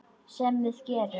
Sem við gerum.